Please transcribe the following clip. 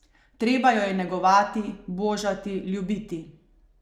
Treba jo je negovati, božati, ljubiti...